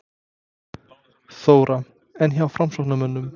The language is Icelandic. Þóra: En hjá framsóknarmönnum?